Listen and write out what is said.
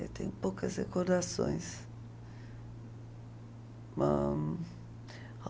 Eu tenho poucas recordações.